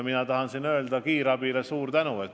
Mina tahan siin öelda kiirabile suur tänu.